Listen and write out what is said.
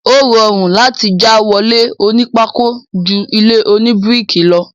Ó rọrùn láti já wọlé oní pákó ju ilé oní bíríkì lọ.